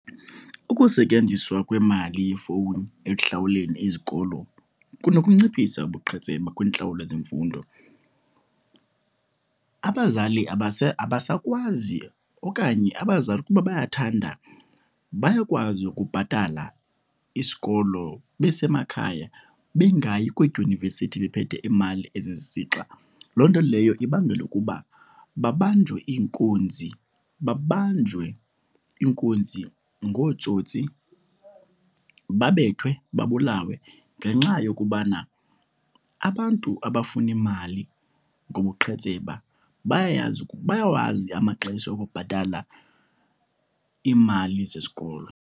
Ukusetyenziswa kwemali yefowuni ekuhlawuleni izikolo kunokunciphisa ubuqhetseba kwintlawulo zemfundo. Abazali abasakwazi okanye abazali ukuba bayathanda bayakwazi ukubhatala isikolo besemakhaya, bengayi kwiidyunivesithi bephethe imali esisixa. Loo nto leyo ibangela ukuba babanjwe iinkunzi, babanjwe iinkunzi ngootsotsi, babethwe, babulawe ngenxa yokubana abantu abafuna imali ngobuqhetseba bayayazi, bayawazi amaxesha okubhatala iimali zesikolo.